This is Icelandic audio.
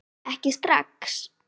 Ekki strax